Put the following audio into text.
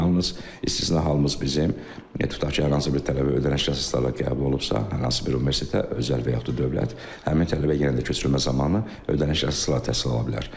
Yalnız istisna halımız bizim tutaq ki, hər hansı bir tələbə ödənişsiz əsaslarla qəbul olunubsa, hər hansı bir universitetə, özəl və yaxud da dövlət, həmin tələbə yenə də köçürülmə zamanı ödənişsiz əsaslarla təhsil ala bilər.